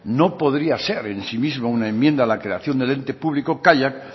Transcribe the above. no podría ser en sí mismo una enmienda a la creación del ente público kaiak